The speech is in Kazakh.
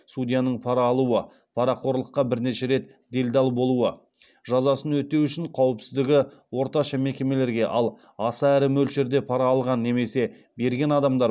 судьяның пара алуы парақорлыққа бірнеше рет делдал болуы жазасын өтеу үшін қауіпсіздігі орташа мекемелерге ал аса ірі мөлшерде пара алған немесе берген адамдар